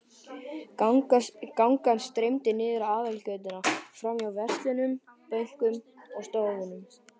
Gangan streymdi niður aðalgötuna, framhjá verslunum, bönkum og stofnunum.